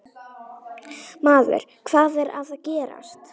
Maður, hvað er að gerast?